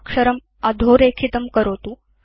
अक्षरम् अधोरेखितं करोतु